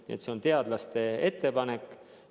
Nii et see on teadlaste ettepanek.